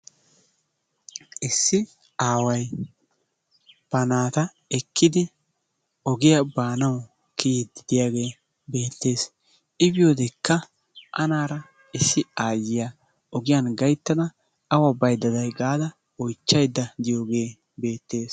issi aaway ba naata ekkidi ogiyaa baanawu kiyidi diyaagee beetees. I biyodekka anaara issi aayiya ogiyan gaytada awa baydda day gaada oychaydda diyoogee beettees.